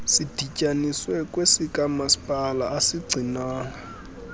sidityaniswe kwesikamasipala asigcinwanga